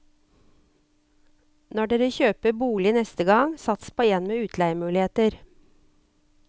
Når dere kjøper bolig neste gang, sats på en med utleiemuligheter.